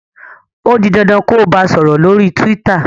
o dì dandan kò bá sòrò lórí twitter!